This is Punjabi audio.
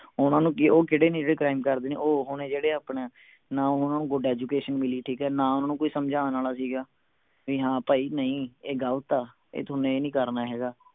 ਓਹਨਾ ਨੂੰ ਕਿ ਉਹ ਕਿਹੜੇ ਨੇ ਜੋ crime ਕਰਦੇ ਨੇ ਉਹ ਓਹੋ ਨੇ ਜਿਹੜੇ ਆਪਣਾ ਨਾ ਓਹਨਾ ਨੂੰ good education ਮਿਲੀ ਠੀਕ ਹੈ ਨਾ ਓਹਨਾ ਨੂੰ ਕੋਈ ਸਮਝਾਣ ਆਲਾ ਸੀ ਗਾ ਵੀ ਹਾਂ ਭਾਈ ਨਹੀਂ ਇਹ ਗਲਤ ਆ ਇਹ ਥੋਨੂੰ ਇਹ ਨਹੀਂ ਕਰਨਾ ਹੈਗਾ